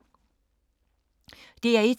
DR1